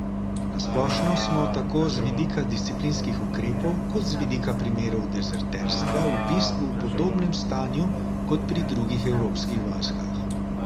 Na splošno smo tako z vidika disciplinskih ukrepov kot z vidika primerov dezerterstva v bistvu v podobnem stanju kot pri drugih evropskih vojskah.